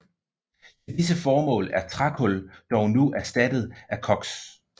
Til disse formål er trækul dog nu erstattet af koks